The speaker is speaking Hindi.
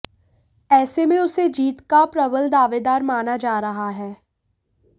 ऐसे में उसे जीत का प्रबल दावेदार माना जा रहा है